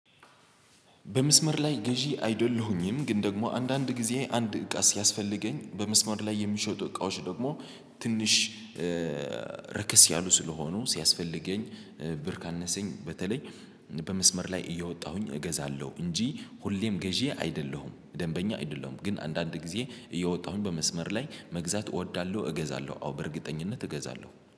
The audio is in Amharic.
በመስመር ላይ ገዢ አይደለሁኝም ግን ደግሞ አንዳንድ ጊዜ አንድ እቃ ሲያስፈልገኝ በመስመር ላይ የሚሸጡ እቃዎች ደግሞ ትንሽ ረከስ ያሉ ስለሆኑ ሲያስፈልገኝ ብር ካነሰኝ በተለይ በመስመር ላይ እየወጣሁኝ እገዛለሁ። እንጂ ሁሌም ገዢ አይደለሁም ደንበኛ አይደለሁም። ግን አንዳንድ ጊዜ እየወጣሁኝ በመስመር ላይ መግዛት እወዳለሁ እገዛለሁ አዎ በእርግጠኝነት እገዛለሁ